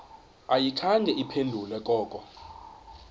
ayikhange iphendule koko